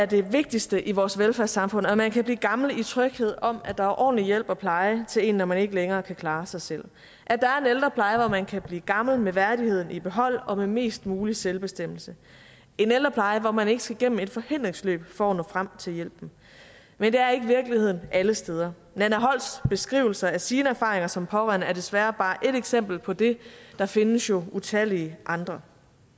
det vigtigste i vores velfærdssamfund at man kan blive gammel i tryghed om at der er ordentlig ældrepleje til en når man ikke længere kan klare sig selv at der er en ældrepleje hvor man kan blive gammel med værdigheden i behold og med mest mulig selvbestemmelse en ældrepleje hvor man ikke skal igennem et forhindringsløb for at nå frem til hjælpen men det er ikke virkeligheden alle steder nanna holsts beskrivelser af sine erfaringer som pårørende er desværre bare et eksempel på det der findes jo utallige andre